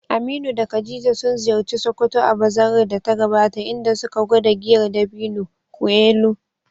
Aminu da Khadija sun ziyarci Sokoto a bazarar da ta gabata, inda suka gwada giyar dabino, (nkwu elu).